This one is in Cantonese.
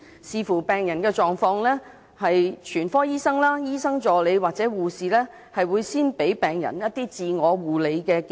視乎病人狀況，全科醫生、醫生助理或護士會先給予病人自我護理建議。